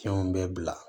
Fɛnw bɛɛ bila